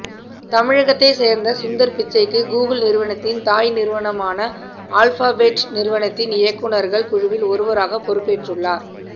தமிழகத்தைச் சேர்ந்த சுந்தர் பிச்சைக்கு கூகுள் நிறுவனத்தின் தாய் நிறுவனமான ஆல்பாபெட் நிறுவனத்தின் இயக்குநர்கள் குழுவில் ஒருவராகப் பொறுப்பேற்றுள்ளார்